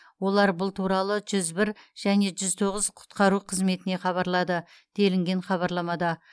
олар бұл туралы жүз бір және жүз тоғыз құтқару қызметіне хабарлады делінген хабарламада